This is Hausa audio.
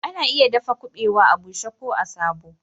Ana iya dafa kubawa a bushe ko sabo